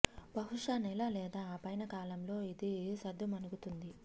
బహుశా నెల లేదా ఆపైన కాలంలో ఇది సద్దు మణుగు తుంది